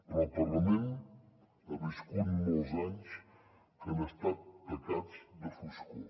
però el parlament ha viscut molts anys que han estat tacats de foscor